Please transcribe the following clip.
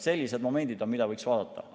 Sellised momendid on, mida võiks vaadata.